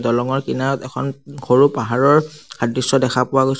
দলংঙৰ কিনাৰত এখন সৰু পাহাৰৰ সাদৃশ্য দেখা পোৱা গৈছে।